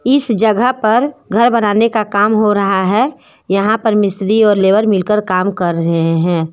इस जगह पर घर बनाने का काम हो रहा है यहा पर मिस्त्री और लेबर मिलकर काम कर रहे है।